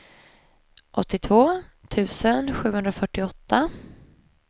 åttiotvå tusen sjuhundrafyrtioåtta